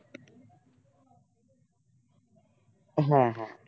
হ্যাঁ হ্যাঁ